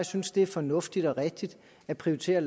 synes det er fornuftigt og rigtigt at prioritere